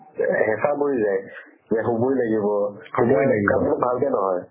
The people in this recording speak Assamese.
হেচা পৰি যাই যে হ'বৈ লাগিব ভালকে নহয়